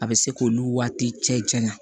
A bɛ se k'olu waati cɛ janya